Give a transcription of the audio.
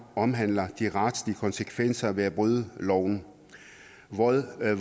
omhandler de retlige konsekvenser ved at bryde loven